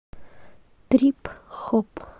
трип хоп